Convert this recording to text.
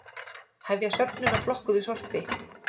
Hefja söfnun á flokkuðu sorpi